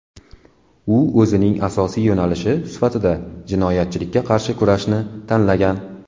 U o‘zining asosiy yo‘nalishi sifatida jinoyatchilikka qarshi kurashni tanlagan.